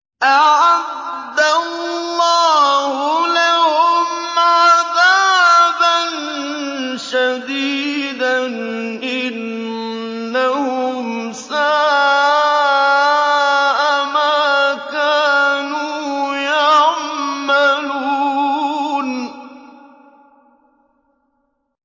أَعَدَّ اللَّهُ لَهُمْ عَذَابًا شَدِيدًا ۖ إِنَّهُمْ سَاءَ مَا كَانُوا يَعْمَلُونَ